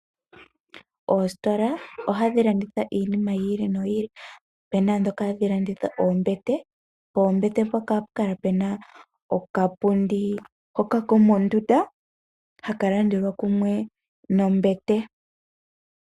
Oositola ohadhi landitha iinima yi ili no yi ili. Opena ndhoka hadhi landitha oombete . Poombete mpoka hapu kala pena okapundi kako mondunda haka landelwa kumwe nombete.